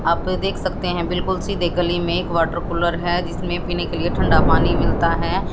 आप यह देख सकते हैं बिल्कुल सीधे गली में एक वाटर कूलर है जिसमें पीने के लिए ठंडा पानी मिलता है।